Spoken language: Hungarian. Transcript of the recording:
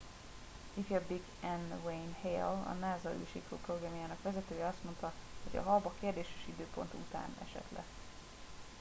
ifjabbik n wayne hale a nasa űrsiklóprogramjának vezetője azt mondta hogy a hab a kérdéses időpont után esett le